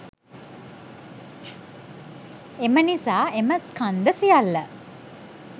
එම නිසා එම ස්කන්ධ සියල්ල